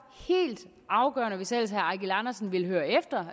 helt afgørende hvis ellers herre eigil andersen vil høre efter